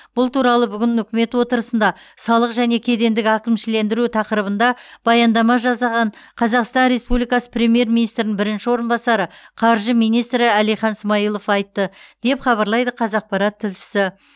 бұл туралы бүгін үкімет отырысында салық және кедендік әкімшілендіру тақырыбында баяндама жасаған қазақстан республикасы премьер министрінің бірінші орынбасары қаржы министрі әлихан смайылов айтты деп хабарлайды қазақпарат тілшісі